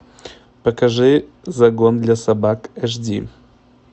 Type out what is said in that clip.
покажи загон для собак эйч ди